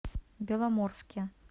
беломорске